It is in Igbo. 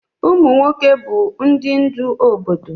Ụmụ nwoke bụ ndị ndú na obodo